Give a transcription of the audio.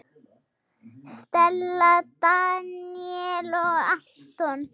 Stella, Daníel og Anton.